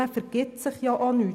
Damit vergibt man sich nichts.